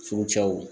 Furucɛw